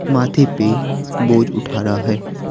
माथे पे बोझ उठा रहा है।